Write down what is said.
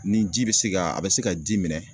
Ni ji be se ka a bɛ se ka di minɛ